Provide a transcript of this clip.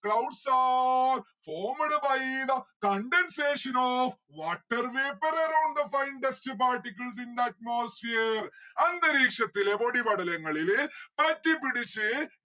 clouds are formed by the condensation of water vapour around the fine dust particles in the atmosphere അന്തരീക്ഷത്തിലെ പൊടിപടലങ്ങളില് പറ്റിപ്പിടിച്ച്